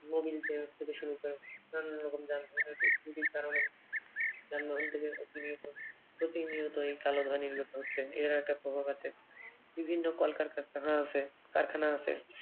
Mobil cap থেকে শুরু করে নানান রকম যানবাহনের ত্রুটির কারণে যানবাহন থেকে প্রতিনিয়ত প্রতিনিয়ত এই কালো ধোঁয়া নির্গত হচ্ছে। এর একটা প্রভাব আছে। বিভিন্ন কলকারখানা আছে কারখানা আছে।